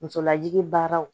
Musolajigi baaraw